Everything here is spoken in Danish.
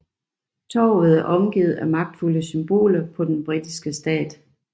Torvet er omgivet af magtfulde symboler på den britiske stat